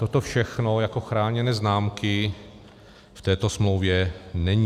Toto všechno jako chráněné známky v této smlouvě není.